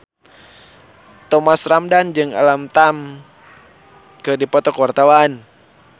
Thomas Ramdhan jeung Alam Tam keur dipoto ku wartawan